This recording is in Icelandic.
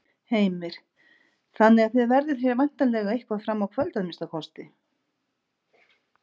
Heimir: Þannig að þið verðið hér væntanlega eitthvað fram á kvöld að minnsta kosti?